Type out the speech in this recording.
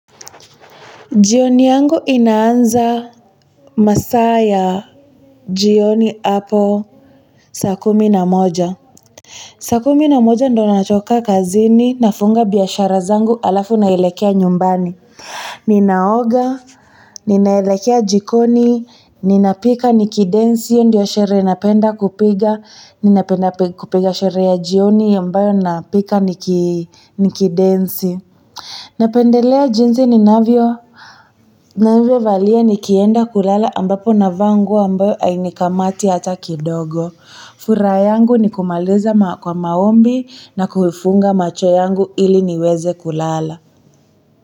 Jioni yangu inaanza masaa ya jioni hapo saa kumi na moja saa kumi na moja ndo natoka kazini nafunga biashara zangu halafu naelekea nyumbani ninaoga ninaelekea jikoni ninapika nikidensi ndio sherehe napenda kupiga ninapenda kupiga sherehe ya jioni ambayo napika nikidensi napendelea jinsi ninavyo ninavyovalia nikienda kulala ambapo navaa nguo ambayo hainikamati hata kidogo. Furaha yangu ni kumaliza kwa maombi na kufunga macho yangu ili niweze kulala.